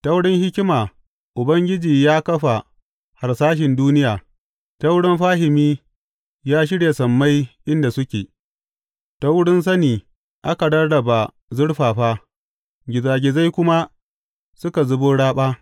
Ta wurin hikima Ubangiji ya kafa harsashin duniya, ta wurin fahimi ya shirya sammai inda suke; ta wurin sani aka rarraba zurfafa, gizagizai kuma suka zubo raɓa.